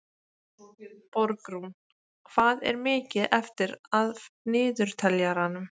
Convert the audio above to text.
Borgrún, hvað er mikið eftir af niðurteljaranum?